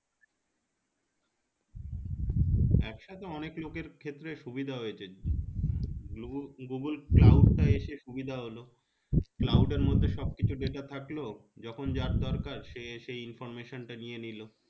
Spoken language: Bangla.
একসাথে অনেক লোকের ক্ষেত্রে সুবিধা হয়েছে google google cloud তা এসে সুবিধা হলো cloud এর মধ্যে সবকিছু data থাকলো যখন যার দরকার সে সেই information টা নিয়ে নিলো